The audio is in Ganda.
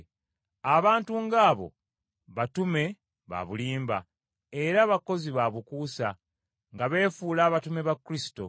Abantu ng’abo batume baabulimba, era bakozi baabukuusa, nga beefuula abatume ba Kristo.